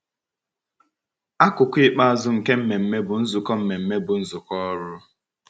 Akụkụ ikpeazụ nke mmemme bụ nzukọ mmemme bụ nzukọ Ọrụ.